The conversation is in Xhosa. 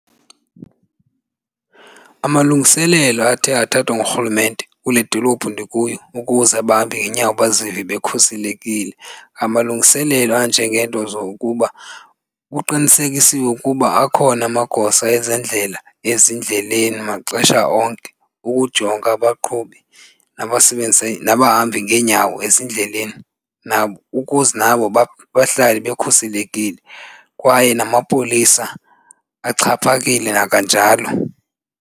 Amalungiselelo athe athathwa ngurhulumente kule dolophu ndikuyo ukuze abahambi ngeenyawo bazive bekhuselekile ngamalungiselelo anjengeento zokuba kuqinisekisiwe ukuba akhona amagosa ezendlela ezindleleni maxesha onke ukujonga abaqhubi nabasebenzisa nabahambi ngeenyawo ezindleleni nabo ukuze nabo bahlale bekhuselekile kwaye namapolisa axhaphakile nakanjalo.